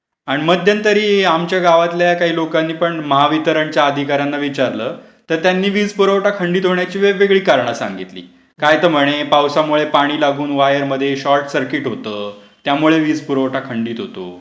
आणि मध्यंतरी आमच्या गावातल्या काही लोकांनी पण महावितरणच्या अधिकाऱ्यांना विचारलं, तर त्यांनी वीज पुरवठा खंडित होण्याची वेगवेगळी करणं सांगितली. काय तर म्हणे पावसामुळे पाणी लागून वायर मध्ये शॉर्टसर्किट होतो त्यामुळे वीज